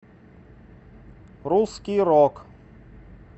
русский рок